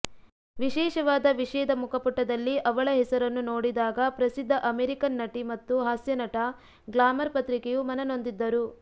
ವಿಶೇಷವಾದ ವಿಷಯದ ಮುಖಪುಟದಲ್ಲಿ ಅವಳ ಹೆಸರನ್ನು ನೋಡಿದಾಗ ಪ್ರಸಿದ್ಧ ಅಮೆರಿಕನ್ ನಟಿ ಮತ್ತು ಹಾಸ್ಯನಟ ಗ್ಲಾಮರ್ ಪತ್ರಿಕೆಯು ಮನನೊಂದಿದ್ದರು